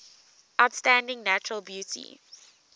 outstanding natural beauty